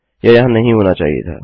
यह यहाँ नहीं होना चाहिए था